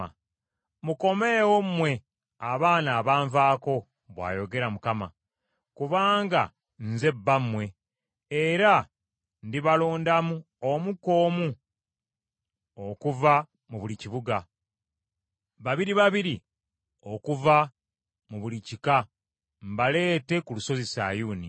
“Mukomeewo mmwe abaana abanvaako,” bw’ayogera Mukama ; “kubanga nze bbammwe, era ndibalondamu omu ku omu okuva mu buli kibuga, babiri babiri okuva mu buli kika mbaleete ku lusozi Sayuuni.